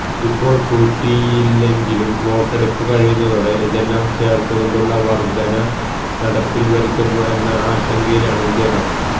ഇപ്പോൾ കൂട്ടിയില്ലെങ്കിലും വോട്ടെടുപ്പ് കഴിയുന്നതോടെ ഇതെല്ലാം ചേർത്തുകൊണ്ടുള്ള വർധന നടപ്പിൽ വരുത്തുമോ എന്ന ആശങ്കയിലാണ് ജനം